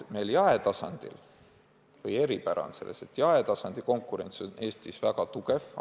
Meie eripära on selles, et jaetasandi on konkurents Eestis väga tugev.